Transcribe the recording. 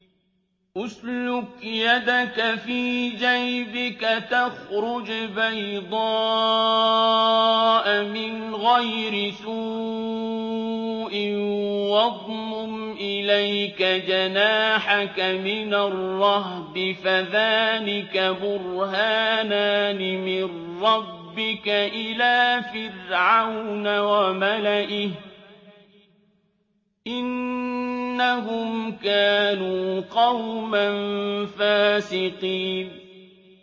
اسْلُكْ يَدَكَ فِي جَيْبِكَ تَخْرُجْ بَيْضَاءَ مِنْ غَيْرِ سُوءٍ وَاضْمُمْ إِلَيْكَ جَنَاحَكَ مِنَ الرَّهْبِ ۖ فَذَانِكَ بُرْهَانَانِ مِن رَّبِّكَ إِلَىٰ فِرْعَوْنَ وَمَلَئِهِ ۚ إِنَّهُمْ كَانُوا قَوْمًا فَاسِقِينَ